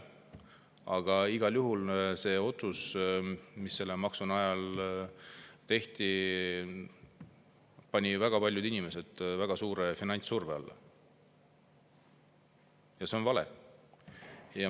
Aga igal juhul see otsus, mis selle maksu kujul tehti, pani väga paljud inimesed väga suure finantssurve alla, ja see on vale.